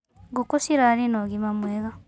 Ngũkũ cirarĩ na ũgima mwega.